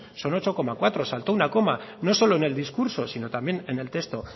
son ocho coma cuatro saltó una coma no solo en el discurso sino también en el texto